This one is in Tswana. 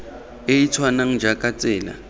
e e tshwanang jaaka tsela